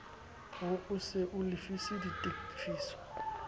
ho se o lefise ditefiso